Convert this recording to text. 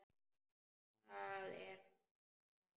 Það er hann sem ræður.